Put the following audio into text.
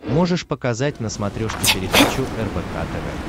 можешь показать на смотрешке передачу рбк тв